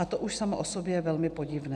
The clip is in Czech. A to už samo o sobě je velmi podivné.